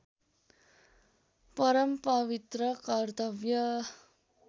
परम पवित्र कर्तव्य